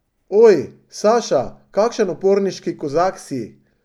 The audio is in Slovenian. Oj, Saša, kakšen uporniški Kozak si!